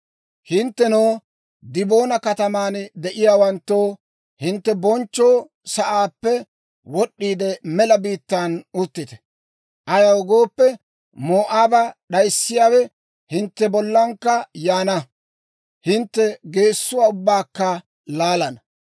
«Hinttenoo, Diboona kataman de'iyaawanttoo, hintte bonchcho sa'aappe wod'd'iide, mela biittan uttite. Ayaw gooppe, Moo'aaba d'ayissiyaawe hintte bollankka yaana; hintte geessuwaa ubbaakka laalana.